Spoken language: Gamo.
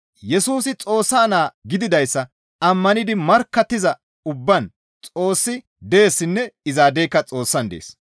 Yesusi Xoossa naa gididayssa ammanidi markkattiza ubbaan Xoossi deessinne izaadeyka Xoossan dees.